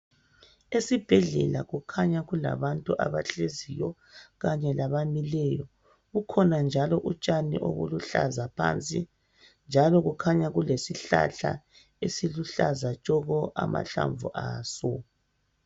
Esibhedlela kukhanya kulabantu abahleziyo kanye labamileyo kukhona njalo utshani obuluhlaza phansi njalo kukhanya kulesihlahla esiluhlaza tshoko amahlamvu aso.